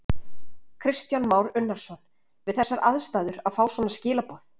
Kristján Már Unnarsson: Við þessar aðstæður að fá svona skilaboð?